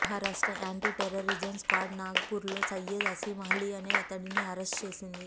Maharashtra anti terrorism squad Nagpur లో సయ్యద్ అసిమ్ అలీ అనే అతడిని అరెస్ట్ చేసింది